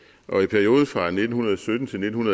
perioden fra nitten sytten til nitten